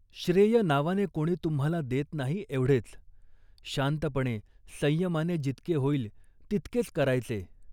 श्रेय नावाने कोणी तुम्हाला देत नाही, एवढेच. शांतपणे, संयमाने जितके होईल तितकेच करायचे